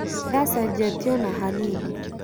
Ndacenjetie ona hanini